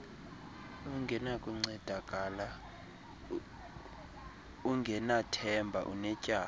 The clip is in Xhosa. ungenakuncedakala ungenathemba unetyala